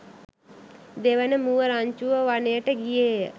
දෙවන මුව රංචුව වනයට ගියේය.